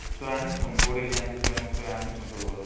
୧୦୦ ଆନୁଚନ board exam ଟି ୧୦୦ ନୁ ୧୦୦ ଆନୁଚନ